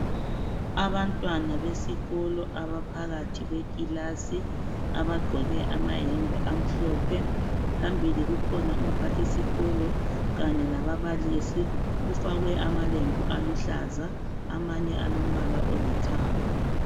Abantwana besikolo abaphakathi kwekilasi abagqoke amayembe amhlophe phambili kukhona umphathisikolo kanye lababalisi kufakwe amalembu aluhlaza amanye alombala olithanga.